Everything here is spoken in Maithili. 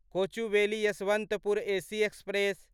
Kochuveli Yesvantpur AC express